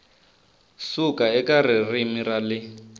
suka eka ririmi ra le